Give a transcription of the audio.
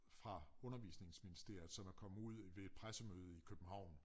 Fra undervisningsministeriet som er kommet ud ved et pressemøde i København